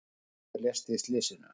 Einn maður lést í slysinu.